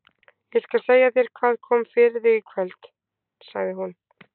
Ég skal segja þér hvað kom fyrir þig í kvöld, sagði hún.